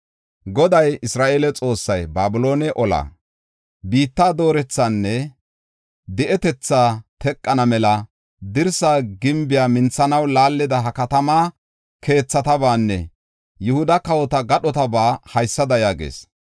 Goday, Isra7eele Xoossay, Babiloone olaa, biitta doorethaanne, di7etetha teqana mela dirsa gimbiya minthanaw laallida ha katama keethatabaanne Yihuda kawota gadhotaba haysada yaagees.